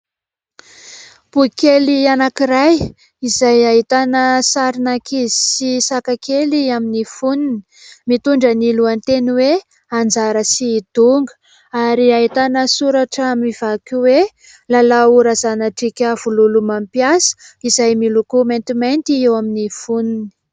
Boky kely anankiray izay ahitana sarin'ankizy sy saka kely amin'ny fonony. Mitondra ny lohateny hoe : "Anjara sy Donga" ary ahitana soratra mivaky hoe : Lalao Razanadriaka Vololomampisa" izay miloko maintimainty eo amin'ny fonony.